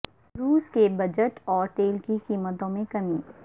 روس کے بجٹ اور تیل کی قیمتوں میں کمی